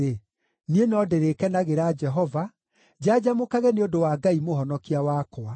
niĩ no ndĩrĩkenagĩra Jehova, njanjamũkage nĩ ũndũ wa Ngai Mũhonokia wakwa.